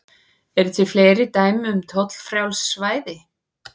Eru til fleiri dæmi um tollfrjáls svæði?